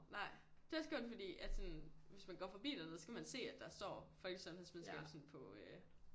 Nej det er også kun fordi at sådan hvis man går fordi dernede så kan man se at der står folkesundhedsvidenskab sådan på øh